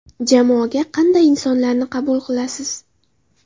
Jamoaga qanday insonlarni qabul qilasiz?